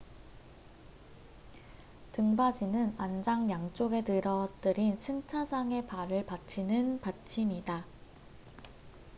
등받이는 안장 양쪽에 늘어뜨린 승차자의 발을 받치는 받침이다